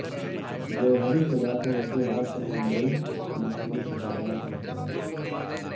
جوہری سے لاکھو ںروپئے ہڑپ کر ممبئی مفرور دھوکہ باز گرفتار